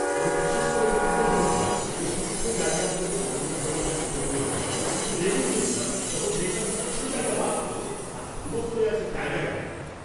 আমি বিশেষ করে এটা তুলে ধরেছিলাম যে সূক্ষ্ম জায়গাগুলোতে মনোযোগ দেওয়াটা কত প্রয়োজন, কিন্তু রেগে গিয়েছিলাম যখন দেখলাম কিছু জায়গা বাদ পড়েছে আর ধুলো পড়ে আছে জায়গায় জায়গায়!